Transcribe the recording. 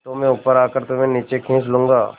तो मैं ऊपर आकर तुम्हें नीचे खींच लूँगा